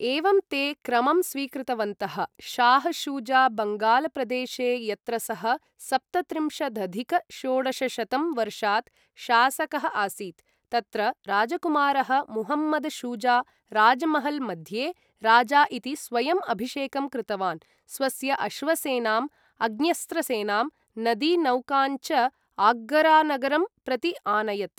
एवं ते क्रमं स्वीकृतवन्तः, शाह् शुजा बङ्गालप्रदेशे यत्र सः सप्तत्रिंशदधिक षोडशशतं वर्षात् शासकः आसीत्, तत्र राजकुमारः मुहम्मद् शुजा राजमहल मध्ये राजा इति स्वयम् अभिषेकं कृतवान्, स्वस्य अश्वसेनां, अग्न्यस्त्र सेनां, नदी नौकान् च आग्रानगरं प्रति आनयत्।